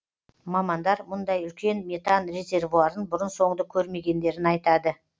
мамандар мұндай үлкен метан резервуарын бұрын соңды көрмегендерін айтады